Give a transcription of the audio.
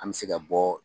An bɛ se ka bɔ